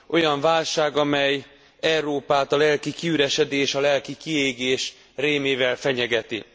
Olyan válság, amely Európát a lelki kiüresedés, a lelki kiégés rémével fenyegeti.